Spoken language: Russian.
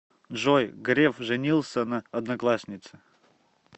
джой греф женился на однокласснице